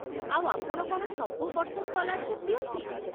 ଆଉ ଆପଣ କ'ଣ ସବୁ ବର୍ଷ ସ୍କଲାର୍ଶିପ୍ ଦିଅନ୍ତି?